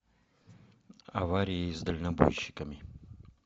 аварии с дальнобойщиками